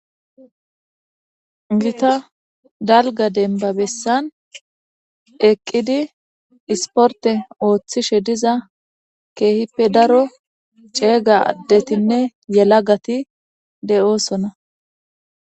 gita dalga denbabessan eqqidi isporte ooththishe diza keehippe daro ceega ddetinne yela gati de7oosona